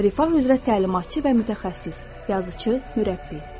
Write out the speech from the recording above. Rifah üzrə təlimatçı və mütəxəssis, yazıçı, məşqçi.